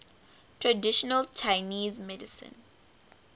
traditional chinese medicine